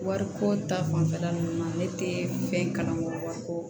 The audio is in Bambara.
Wariko ta fanfɛla nunnu na ne te fɛn kalan kɔ wariko